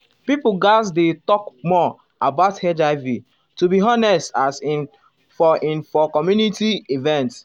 pipo gatz dey talk more um about um hiv to be honest as in for in for community event